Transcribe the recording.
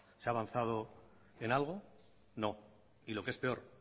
se ha avanzado en algo no y lo que es peor